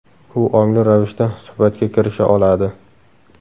U ongli ravishda suhbatga kirisha oladi.